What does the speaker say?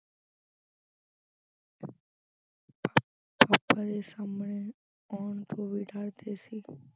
papa ਦੇ ਸਾਹਮਣੇ ਆਉਣ ਤੋਂ ਵੀ ਡਰਦੇ ਸੀ।